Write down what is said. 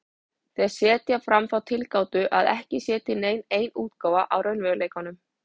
Þeir setja fram þá tilgátu að ekki sé til nein ein útgáfa af raunveruleikanum.